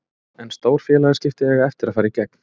En stór félagsskipti eiga eftir að fara í gegn.